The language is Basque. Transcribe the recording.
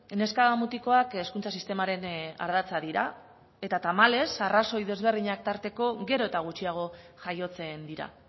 neska mutikoak hezkuntza sistemaren ardatza dira eta tamalez arrazoi ezberdinak tarteko gero eta gutxiago jaiotzen dira